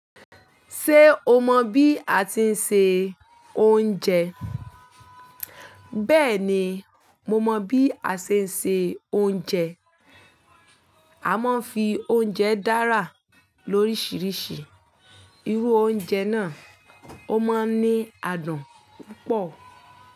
Ṣé o mọ bí a ti ń se oúnjẹ? Bẹ́ẹ̀ni, mo mọ bí a ṣe ń se oúnjẹ. Aa mo ń fi oúnjẹ dára lóríṣiríṣi. Irú oúnjẹ náà ó máa ń ní adùn púpọ̀.